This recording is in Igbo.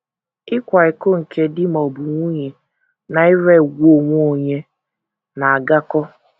Ịkwa iko nke di ma ọ bụ nwunye na ire ùgwù onwe onye, na - agakọ.